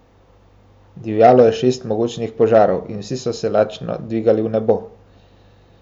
Divjalo je šest mogočnih požarov in vsi so se lačno dvigali v nebo.